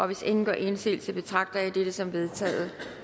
hvis ingen gør indsigelse betragter jeg dette som vedtaget